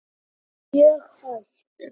Mjög hægt.